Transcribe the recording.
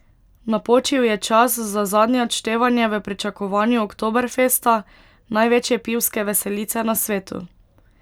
Napočil je čas za zadnje odštevanje v pričakovanju Oktoberfesta, največje pivske veselice na svetu.